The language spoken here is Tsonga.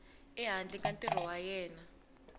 ehandle ka ntirho wa yena